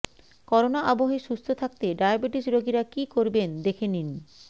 corona আবহে সুস্থ থাকতে ডায়াবেটিস রোগীরা কী করবেন দেখে নিন